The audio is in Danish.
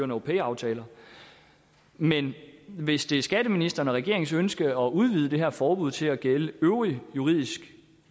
no pay aftaler men hvis det er skatteministeren og regeringens ønske at udvide det her forbud til at gælde øvrig juridisk